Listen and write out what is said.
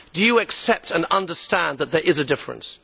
Do you accept and understand that there is a difference?